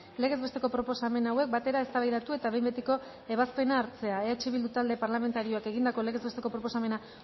legez besteko proposamen hauek batera eztabaidatu eta behin betiko ebazpena hartzea eh bildu talde parlamentarioak egindako legez besteko proposamena